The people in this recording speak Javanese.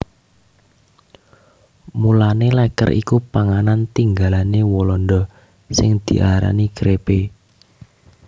Mulané lèker iku panganan tinggalané Walanda sing diarani crêpe